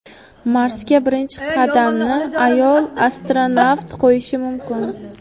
Marsga birinchi qadamni ayol astronavt qo‘yishi mumkin.